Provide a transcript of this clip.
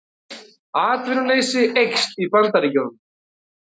Atvinnuleysi eykst í Bandaríkjunum